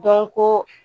Dɔnko